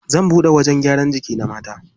Zan buɗe wajen gyaran jiki na mata.